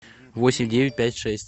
восемь девять пять шесть